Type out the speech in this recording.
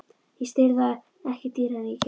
Ég sel það ekki dýrara en ég keypti.